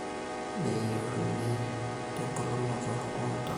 nayieuni tebulunoto oontona